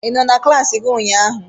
Ị nọ na klassi gị ụnyaahụ?